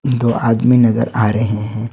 दो आदमी नजर आ रहे हैं।